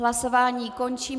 Hlasování končím.